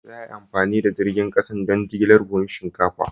Za a yi amfani da jirgin kasa don jigilar buhunan shinkafa.